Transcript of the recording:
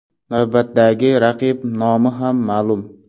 Navbatdagi raqib nomi ham ma’lum .